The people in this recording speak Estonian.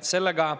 Sellega